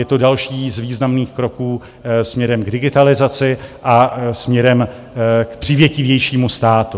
Je to další z významných kroků směrem k digitalizaci a směrem k přívětivějšímu státu.